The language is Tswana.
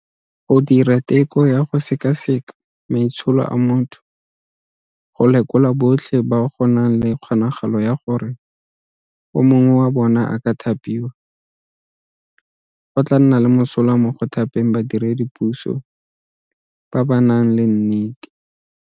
Go dira teko ya go sekaseka maitsholo a motho go lekola botlhe ba go nang le kgonagalo ya gore o mongwe wa bona a ka thapiwa, go tla nna le mosola mo go thapeng badiredi puso ba ba nang le nnete.